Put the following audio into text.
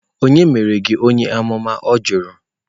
Ònye mere gi onye-amuma? Ọ jụrụ